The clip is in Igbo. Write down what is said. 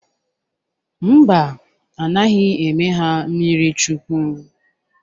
Mba, a naghị eme ha mmirichukwu.